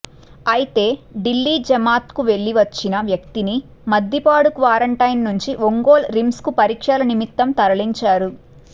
అయితే ఢిల్లీ జమాత్కు వెళ్లి వచ్చిన వ్యక్తిని మద్దిపాడు క్వారంటైన్ నుంచి ఒంగోలు రిమ్స్కు పరీక్షల నిమిత్తం తరలించారు